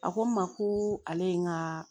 A ko n ma ko ale ye n ka